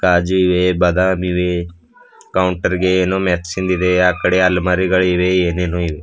ಕಾಜು ಇವೆ ಬದಾಮ್ ಇವೆ ಕೌಂಟರ್ ಗೆ ಏನೊ ಮೆರ್ಸಿಂದ್ ಇದೆ ಆ ಕಡೆ ಆಲಮರಿಗಳಿವೆ ಏನೇನೊ ಇವೆ.